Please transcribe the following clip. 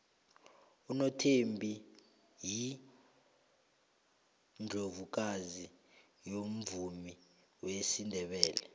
unothembi yiundlovukazi yomvumo wesindebele